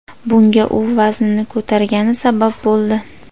Bunga u vaznini ko‘targani sabab bo‘ldi.